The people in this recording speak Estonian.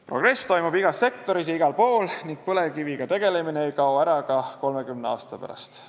Progress toimub igas sektoris ja igal pool ning põlevkiviga tegelemine ei kao ära ka 30 aasta pärast.